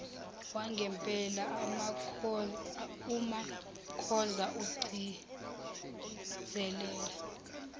wangempela umakhoza ugcizelela